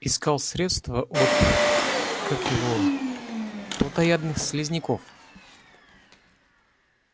искал средство от как его плотоядных слизняков